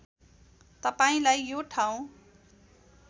तपाईँलाई यो ठाउँ